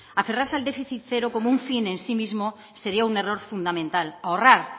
aferrarse al déficit cero como un fin en sí mismo sería un error fundamental ahorrar